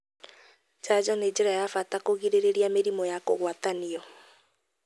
Njanjo nĩ njĩra ya bata kũgirĩrĩria mĩrimũ ya kũgwatanio.